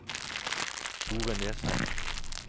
Thore Nesheim